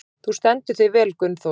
Þú stendur þig vel, Gunnþóra!